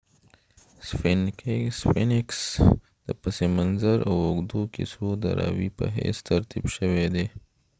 sphinx د پس منظر او اوږدو کیسو د راوي په حیث ترتیب شوی دی